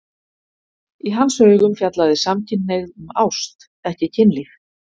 Í hans augum fjallaði samkynhneigð um ást, ekki kynlíf.